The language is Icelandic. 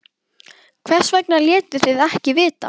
Hvers vegna létuð þið ekki vita?